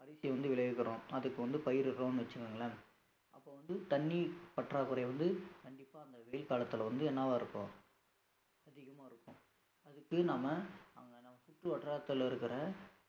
அரிசி வந்து விளைவிக்கிறோம். அதுக்கு வந்து பயிரிடுகிறோம்னு வச்சுக்கோங்களேன் அப்ப வந்து தண்ணீர் பற்றாக்குறை வந்து கண்டிப்பா அந்த வெயில் காலத்துல வந்து என்னவா இருக்கும் அதிகமா இருக்கும் அதுக்கு நாம அங்க சுற்றுவட்டாரத்தில இருக்கிற